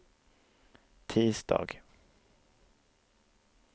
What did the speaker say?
tisdag